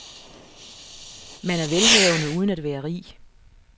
Man er velhavende uden at være rig.